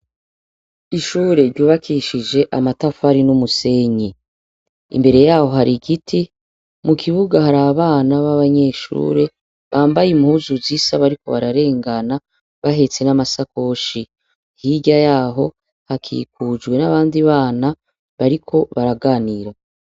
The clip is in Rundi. Ishure ryubakishije amatafari n'umusenyi, imbere yaho har'igiti, mukibuga har'abana b'abanyeshure bambaye impuzu zisa bariko bararengana bahetse nam'asakoshi, hirya yaho hakikujwe n'abandi bana bariko baraganira.